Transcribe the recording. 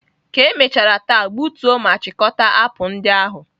Ka emechara taa, gbutuo ma chịkọta apụl ndị ahụ!